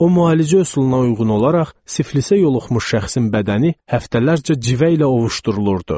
O müalicə üsuluna uyğun olaraq siflisə yoluxmuş şəxsin bədəni həftələrcə civə ilə ovuşdurulurdu.